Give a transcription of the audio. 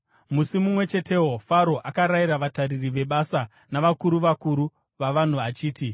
Musi mumwe chetewo Faro akarayira vatariri vebasa navakuru vakuru vavanhu achiti,